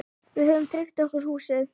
Við höfum tryggt okkur húsið.